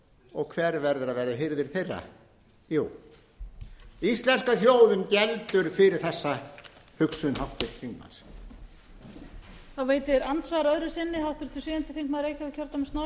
og hver verður að vera hirðir þeirra jú íslenska þjóðin geldur fyrir þessa hugsun háttvirts þingmanns